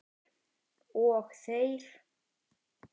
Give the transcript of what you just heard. Og þegir.